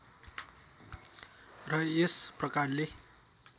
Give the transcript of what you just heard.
र यस प्रकारले